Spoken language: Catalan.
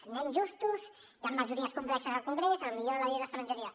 anem justos i amb majories complexes al congrés potser la llei d’estrangeria